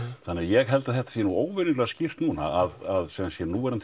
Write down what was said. þannig að ég held að þetta sé nú óvenjulega skýrt núna að sem sé núverandi